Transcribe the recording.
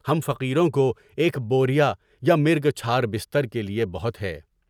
ہم فقیروں کو ایک بوریا، یا مرگ چھار، بستر کے لیے بہت ہے۔